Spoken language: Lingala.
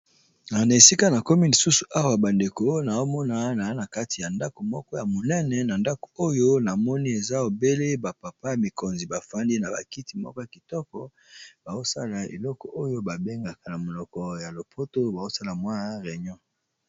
Na esika na komi lisusu awa bandeko naomona na na kati ya ndako moko ya monene na ndako oyo na moni eza ebele bapapa ya mikonzi bafandi na bakiti moko ya kitoko, baosala eloko oyo babengaka na monoko ya lopoto baosala mwi reinon.